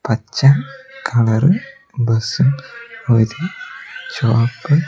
അച്ഛൻ colour bus ഒര് ചോപ്പ്--